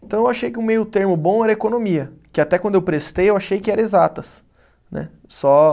Então eu achei que o meio termo bom era economia, que até quando eu prestei eu achei que era exatas né, só.